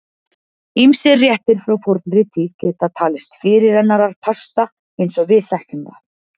Ýmsir réttir frá fornri tíð geta talist fyrirrennarar pasta eins og við þekkjum það.